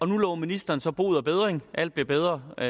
nu lover ministeren så bod og bedring at alt bliver bedre og